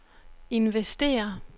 investere